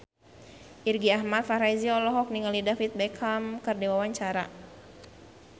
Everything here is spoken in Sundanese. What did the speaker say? Irgi Ahmad Fahrezi olohok ningali David Beckham keur diwawancara